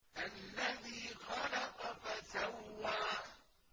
الَّذِي خَلَقَ فَسَوَّىٰ